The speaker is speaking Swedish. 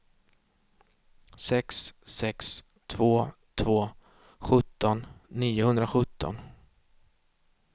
sex sex två två sjutton niohundrasjutton